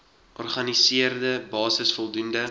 organiseerde basis voldoende